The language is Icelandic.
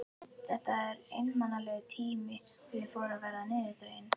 Þetta var einmanalegur tími og ég fór að verða niðurdregin.